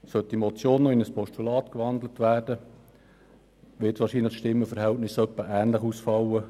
Sollte die Motion in ein Postulat gewandelt werden, wird das Stimmenverhältnis wahrscheinlich ähnlich ausfallen.